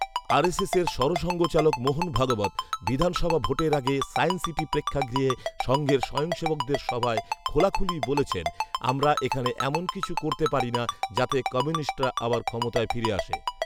আর S এসের সরসঙ্ঘচালক মোহন ভাগবত বিধানসভা ভোটের আগে সায়েন্স সিটি প্রেক্ষাগৃহে সঙ্ঘের স্বয়ংসেবকদের সভায় খোলাখুলি বলেছেন, ‘‘আমরা এখানে এমন কিছু করতে পারি না, যাতে কমিউনিস্টরা আবার ক্ষমতায় ফিরে আসে"